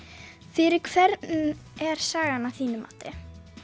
fyrir hvern er sagan að þínu mati